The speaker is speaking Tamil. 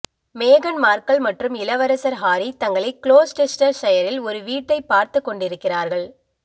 மேகன் மார்கல் மற்றும் இளவரசர் ஹாரி தங்களை குளோஸ்டெஸ்டர்ஷையரில் ஒரு வீட்டைப் பார்த்துக் கொண்டிருக்கிறார்கள்